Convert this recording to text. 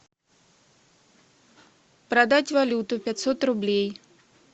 продать валюту пятьсот рублей